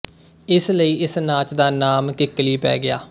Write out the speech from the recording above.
ਇਸ ਲਈ ਇਸ ਨਾਚ ਦਾ ਨਾਮ ਕਿਕਲੀ ਪੈ ਗਿਆ